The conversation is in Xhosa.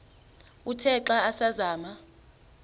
uthe xa asazama